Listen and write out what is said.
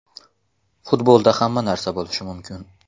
Futbolda hamma narsa bo‘lishi mumkin.